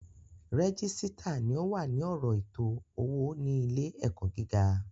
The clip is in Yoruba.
Régísítà ni o wà ní ọ̀rọ̀ ètò owó ní ilé ẹ̀kọ́ gíga